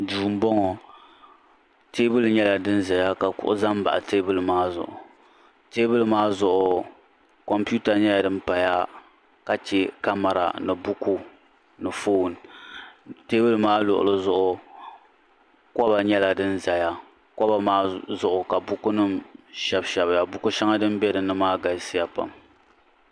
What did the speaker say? duu n bɔŋɔ teebuli nyɛla din ʒɛya ka kuɣu ʒɛ n baɣa teebuli maa teebuli maa zuɣu kompiuta nyɛla din paya ka chɛ kamɛra ni buku ni foon teebuli maa luɣuli zuɣu koba nyɛla din ʒɛya koba maa zuɣu ka buku nim shɛbi shɛbiya buku shɛŋa din bɛ dinni maa galisiya pam